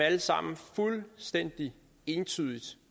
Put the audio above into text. alle sammen fuldstændig entydigt